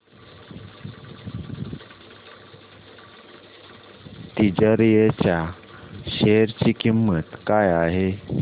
तिजारिया च्या शेअर ची किंमत काय आहे